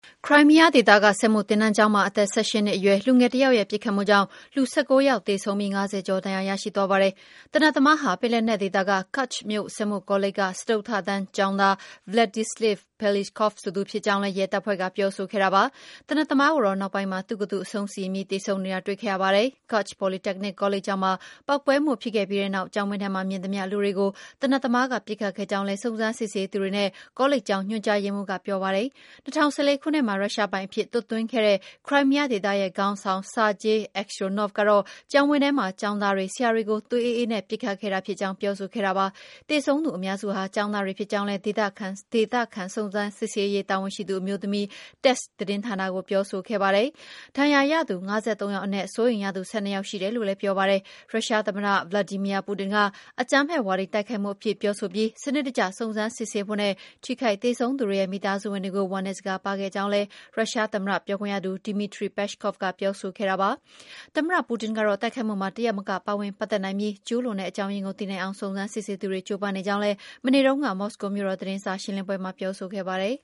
ခရိုင်းမီးယားဒေသက စက်မှုသင်တန်းကျောင်းမှာ အသက် ၁၈ နှစ်အရွယ် လူငယ်တယောက်ရဲ့ ပစ်ခတ်မှုကြောင့် လူ ၁၉ ယောက် သေဆုံးပြီး ၅၀ ကျော် ဒဏ်ရာရရှိသွားပါတယ်။ သေနတ်သမားဟာ ပင်လက်နက်ဒေသက Kerch မြို့ စက်မှုကောလိပ်က စတုတ္ထတန်းကျောင်းသား Vladislav Roslyakov ဆိုသူ ဖြစ်ကြောင်းလည်း ရဲတပ်ဖွဲ့က ပြောဆိုခဲ့တာပါ။ သေနတ်သမားကိုတော့ နောက်ပိုင်းမှာ သူ့ကိုယ်သူ အဆုံးစီရင်ပြီး သေဆုံးနေတာ တွေ့ခဲ့ရပါတယ်။ Kerch Polytechnic ကောလိပ်ကျောင်းမှာ ပေါက်ကွဲမှု ဖြစ်ခဲ့ပြီးနောက် ကျောင်းဝင်းထဲမှာ မြင်သမျှလူတွေကို သေနတ်သမားက ပစ်ခတ်ခဲ့ကြောင်းလည်း စုံစမ်းစစ်ဆေးသူတွေနဲ့ ကောလိပ်ကျောင်း ညွှန်ကြားရေးမှူးက ပြောပါတယ်။ ၂၀၁၄ ခုနှစ်မှာ ရုရှားပိုင်အဖြစ် သွတ်သွင်းခဲ့တဲ့ ခရိုင်းမီးယားဒေသရဲ့ ခေါင်းဆောင် Sergei Aksyonov ကတော့ ကျောင်းဝင်းထဲမှာ ကျောင်းသားတွေ၊ ဆရာတွေကို သွေးအေးအေးနဲ့ ပစ်ခတ်ခဲ့တာ ဖြစ်ကြောင်း ပြောဆိုခဲ့တာပါ။ သေဆုံးသူအများစုဟာ ကျောင်းသားတွေ ဖြစ်ကြောင်းလည်း ဒေသခံစုံစမ်းစစ်ဆေးရေး တာဝန်ရှိသူ အမျိုးသမီးက Tass သတင်းဌာနကို ပြောဆိုခဲ့ပါတယ်။ ဒဏ်ရာရသူ ၅၃ ယောက်အနက် စိုးရိမ်ရသူ ၁၂ ယောက် ရှိတယ်လို့လည်း ပြောပါတယ်။ ရုရှားသမ္မတ Vladimir Putin က အကြမ်းဖက်ဝါဒီ တိုက်ခိုက်မှုအဖြစ် ပြောဆိုပြီး၊ စနစ်တကျ စုံစမ်းစစ်ဆေးဖို့နဲ့ ထိခိုက်သေဆုံးသူတွေရဲ့ မိသားစုဝင်တွေကို ဝမ်းနည်းစကားပါးခဲ့ကြောင်းလည်း ရုရှားသမ္မတ ပြောခွင့်ရ Dmitry Peskov က ပြောဆိုခဲ့တာပါ။ သမ္မတ Putin ကတော့ တိုက်ခိုက်မှုမှာ တယောက်မက ပါဝင်ပတ်သက်နိုင်ပြီး ကျုးလွန်တဲ့ အကြောင်းရင်းကို သိနိုင်အောင် စုံစမ်းစစ်ဆေးသူတွေ ကြိုးပမ်းနေကြောင်းလည်း မနေ့တုန်းက မော်စကိုမြို့တော်က သတင်းစာရှင်းလင်းပွဲမှာ ပြောဆိုခဲ့ပါတယ်